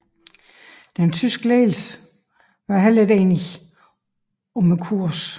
Den tyske ledelse var heller ikke enige om kursen